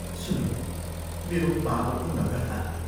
सुन, मेरो पापपूर्ण कथा!